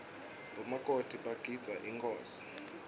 bomakoti bagidzeela inkhosi